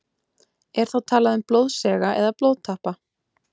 Er þá talað um blóðsega eða blóðtappa.